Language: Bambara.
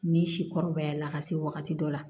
Ni sikɔrɔbaya la ka se wagati dɔ la